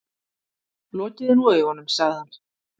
Lokiði nú augunum, sagði hann.